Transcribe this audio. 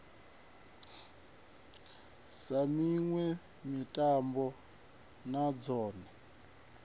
sa miṋwe mitambo na dzone